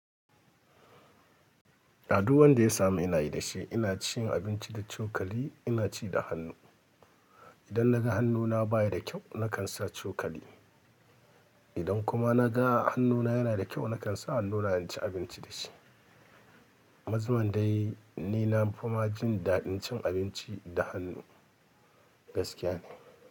Addu'an da ya samu ina yi da shi. Ina cin abinci da cokali, ina ci da hannu. Idan naga hannuna baya da kyau, nakan sa cokali. Idan kuma naga hannuna yana da kyau, nakan sa hannuna in ci abinci da shi. Mazmun dai ni na fima jin daɗin cin abinci da hannu gaskiya.